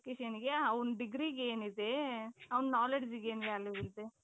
education ಗೆ ಅವನ degreeಗೇನಿದೆ ಅವನ knowledgeಗೇನ್ value ಇದೆ ?